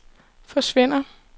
forsvinder